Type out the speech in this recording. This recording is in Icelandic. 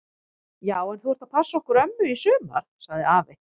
Já en þú ert að passa okkur ömmu í sumar! sagði afi.